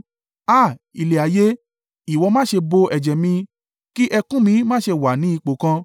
“Háà! Ilẹ̀ ayé, ìwọ má ṣe bò ẹ̀jẹ̀ mi, kí ẹkún mi má ṣe wà ní ipò kan.